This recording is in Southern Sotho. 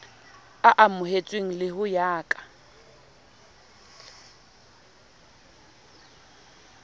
amohetsweng le ho ya ka